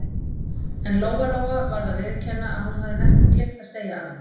En Lóa-Lóa varð að viðurkenna að hún hafði næstum gleymt að segja annað.